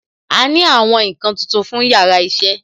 A ní àwọn nkan tuntun fún yàrá iṣẹ́